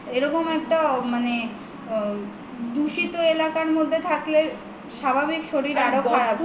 এরকম একটা মানে দুষিত এলাকার মধ্যে থাকলে স্বাভাবিক শরীর আরো খারাপ হবে